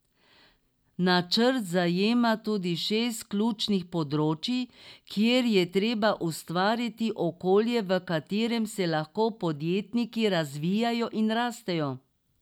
Načrt zajema tudi šest ključnih področij, kjer je treba ustvariti okolje, v katerem se lahko podjetniki razvijajo in rastejo.